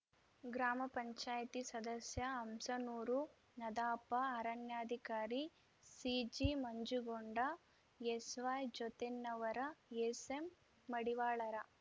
ಗ್ರಾಮಪಂಚಾಯತಿ ಸದಸ್ಯ ಹಂಸನೂರು ನಧಾಪ ಅರಣ್ಯಾಧಿಕಾರಿ ಸಿಜಿಮಂಜುಗೊಂಡ ಎಸ್ವಾಯ್ಜೋತೆನ್ನವರ ಎಸ್ಎಮ್ಮಡಿವಾಳರ